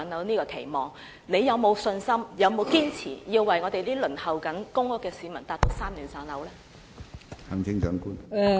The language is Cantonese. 行政長官有沒有信心讓我們正在輪候公屋的市民在3年內"上樓"？